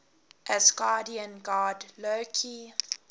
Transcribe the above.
asgardian god loki